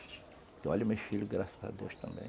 Eu olho meus filhos, graças a Deus, também.